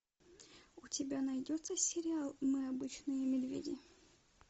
у тебя найдется сериал мы обычные медведи